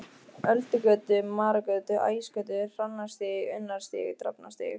Öldugötu, Marargötu, Ægisgötu, Hrannarstíg, Unnarstíg, Drafnarstíg.